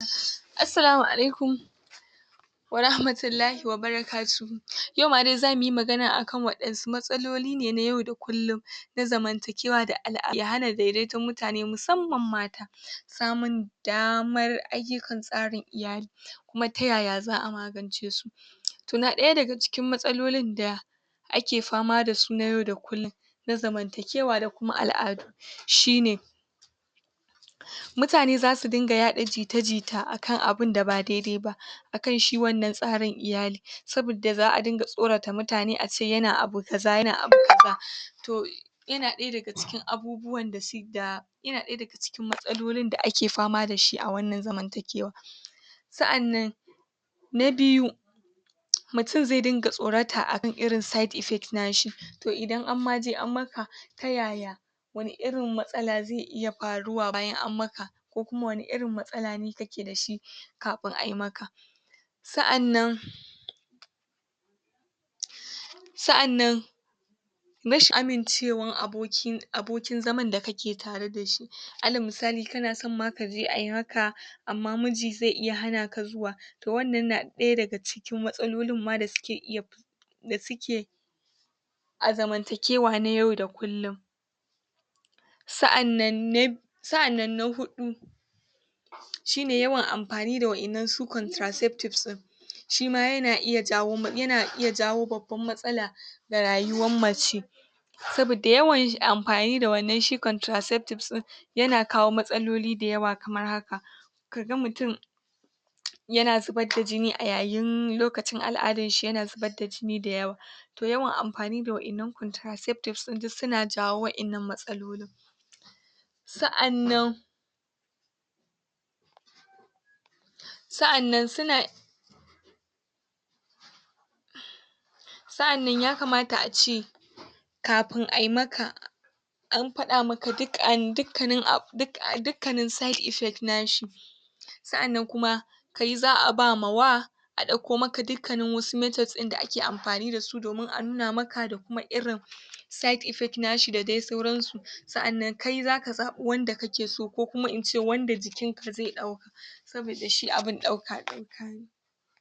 Assalamu alaikum wa rahmatullahi wa barakatuhu, yau ma dai zamu yi magana a kan waɗansu matsaloli ne na yau da kullum na zamantakewa da ya hana daidaiton mutane musamman mata, samun daamar ayyukan tsarin iyali, kuma ta yaya za'a magance su. Toh, na ɗaya daga cikin matsalolin da ake fama dasu na yau da kullun na zamantakewa da kuma al'adu shine: mutane zasu dinga yaɗa jita-jita a kan abun da ba dai-dai ba, a kan shi wannan tsarin iyali, sabidda za'a dinga tsorata mutane ace yana abu kaza, yana abu kaza. Toh, yana ɗaya daga cikin abubuwan da yana ɗaya daga cikin matsalolin da ake fama dashi a wannan zamantakewa. Sa'annan na biyu, mutun zai dinga tsorata akan irin side effects nashi, toh idan an ma je an maka, ta yaya wani irin matsala zai iya faruwa bayan an maka, ko kuma wani irin matsalane kake da shi kafin ai maka. Sa'annan sa'annan rashin amincewan abokin zaman da kake tare da shi, alal musali kana son ma kaje ai maka amma muji zai hana ka zuwa, toh wannan na ɗaya daga cikin matsalolin ma da suke iya da suke a zamantakewa na yau da kullum. Sa'annan na sa'annan huɗu shine yawan anfani da wa'innan su contraceptives ɗin, shima yana iya jawo yana iya jawo babban matsala ga rayuwan mace, sabidda yawan amfani da wannan shi contraceptives ɗin yana kawo matsaloli da yawa kamar haka: ka ga mutun yana zubad da jini a yayin lokacin al'adan shi, yana zubad da jini da yawa. Toh, yawan amfani da wa'innan contraceptives ɗin duk suna jawo wa'innan matsalolin. Sa'annan sa'annan suna sa'anan ya kamata ace kafin ai maka an faɗa maka duk an dukkanin abu dikkanin side effects nashi. Sa'annan kuma kai za'a bamawa a ɗakko maka dukkanin wasu methods ɗin da ake amfani dasu domin a nuna maka, da kuma irin side effects nashi da dai sauransu. Sa'annan kai zaka zaɓu wanda kake so, ko kuma ince wanda jikin ka zai ɗauka. Sabida shi abin ɗauka-ɗauka ne.